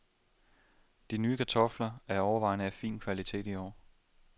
De nye kartofler er overvejende af fin kvalitet i år.